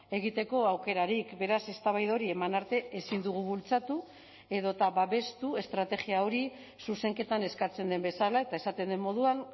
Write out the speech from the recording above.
egiteko aukerarik beraz eztabaida hori eman arte ezin dugu bultzatu edota babestu estrategia hori zuzenketan eskatzen den bezala eta esaten den moduan